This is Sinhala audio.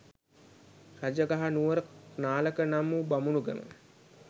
රජාගහ නුවර නාලක නම් වූ බමුණු ගම